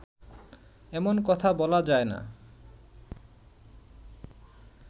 এমন কথা বলা যায় না